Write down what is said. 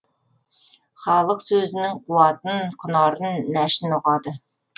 халық сөзінің қуатын құнарын нәшін ұғады